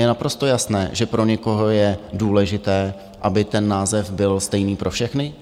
Je naprosto jasné, že pro někoho je důležité, aby ten název byl stejný pro všechny.